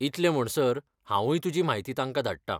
इतले म्हणसर, हांवूय तुजी म्हायती तांका धाडटां.